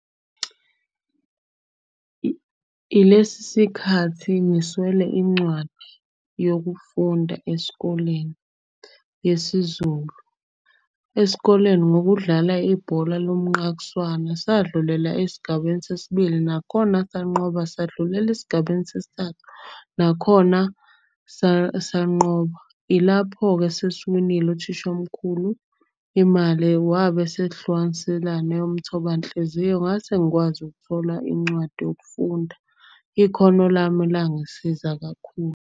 Ilesi sikhathi ngiswele incwadi yokufunda esikoleni yesiZulu. Esikoleni ngokudlala ibhola lomnqakiswana sadlulela esigabeni sesibili, nakhona sanqoba, sadlulela esigabeni sesithathu, nakhona sanqoba. Ilapho-ke sesiwenile uthishomkhulu imali wabe esehlukaniselane eyomthobanhliziyo, ngase ngikwazi ukuthola incwadi yokufunda, ikhono lami langisiza kakhulu.